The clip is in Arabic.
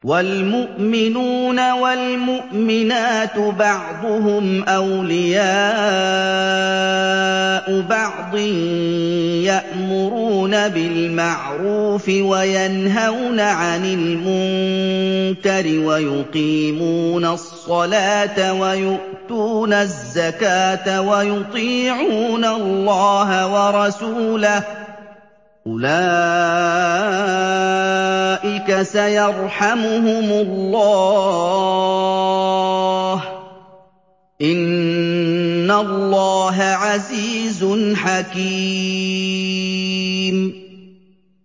وَالْمُؤْمِنُونَ وَالْمُؤْمِنَاتُ بَعْضُهُمْ أَوْلِيَاءُ بَعْضٍ ۚ يَأْمُرُونَ بِالْمَعْرُوفِ وَيَنْهَوْنَ عَنِ الْمُنكَرِ وَيُقِيمُونَ الصَّلَاةَ وَيُؤْتُونَ الزَّكَاةَ وَيُطِيعُونَ اللَّهَ وَرَسُولَهُ ۚ أُولَٰئِكَ سَيَرْحَمُهُمُ اللَّهُ ۗ إِنَّ اللَّهَ عَزِيزٌ حَكِيمٌ